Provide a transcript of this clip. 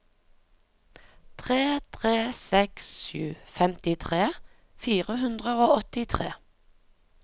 tre tre seks sju femtitre fire hundre og åttitre